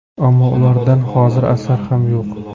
Ammo ulardan hozir asar ham yo‘q.